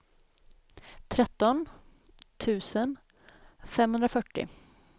tretton tusen femhundrafyrtio